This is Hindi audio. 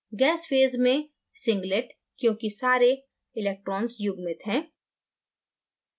gas फेज़ में singlet क्योंकि सारे electrons युग्मित हैं